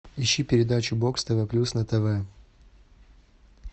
ищи передачу бокс тв плюс на тв